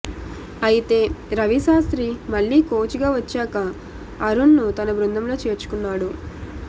అయితే రవిశాస్త్రి మళ్లీ కోచ్గా వచ్చాక అరుణ్ను తన బృందంలో చేర్చుకున్నాడు